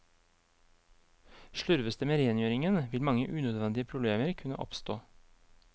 Slurves det med rengjøringen, vil mange unødvendige problemer kunne oppstå.